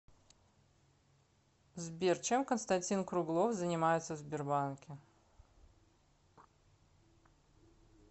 сбер чем константин круглов занимается в сбербанке